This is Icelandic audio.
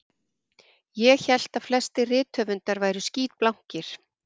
Ég hélt að flestir rithöfundar væru skítblankir